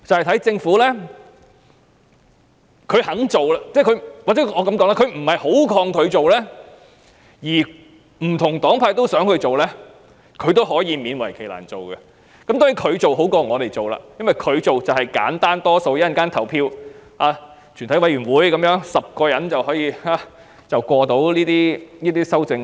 當政府不太抗拒提出修正案，而不同黨派也想這樣做，政府就會勉為其難去做，而政府做比我們做更好，因為簡單得多，只要在稍後的全體委員會審議階段取得10票便可通過。